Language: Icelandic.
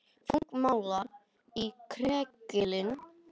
Þungmálmar í kræklingi